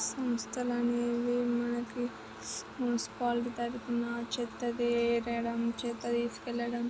సంస్థ అనేవి మనకి మున్సిపాలిటీ తరుపున చెత్త వేరడంచెత్త తీసుకెళ్లడం--